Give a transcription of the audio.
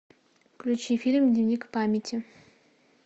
включи фильм дневник памяти